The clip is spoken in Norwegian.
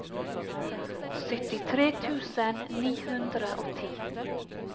syttitre tusen ni hundre og ti